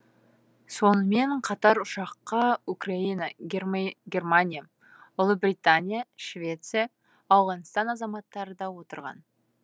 сонымен қатар ұшаққа украина германия ұлыбритания швеция ауғанстан азаматтары да отырған